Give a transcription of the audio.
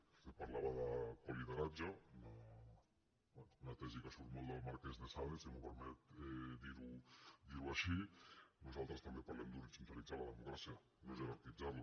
vostè parlava de colideratge una tesi que surt molt del marquès d’esade si em permet dirho així nosaltres també parlem d’horitzontalitzar la democràcia no jerarquitzarla